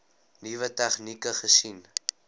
nuwe tegnieke gesien